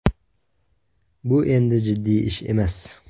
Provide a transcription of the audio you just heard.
Bu endi jiddiy ish emas.